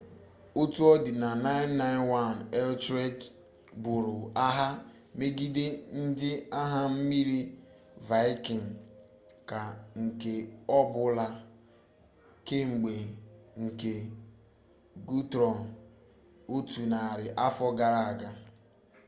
otu ọ dịna na 991 etelred buru agha megide ndị agha mmiri vaịkịn ka nke ọbụla kemgbe nke gutrum otu narị afọ gara aga